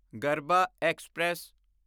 Garbha express